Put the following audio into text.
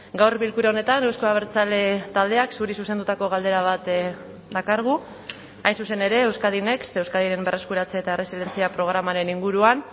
gaur bilkura honetan euzko abertzale taldeak zuri zuzendutako galdera bat dakargu hain zuzen ere euskadi next euskadiren berreskuratze eta erresilientzia programaren inguruan